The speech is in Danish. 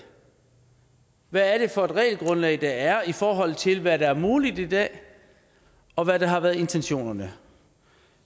hvad er det for et regelgrundlag der er i forhold til hvad der er muligt i dag og hvad der har været intentionerne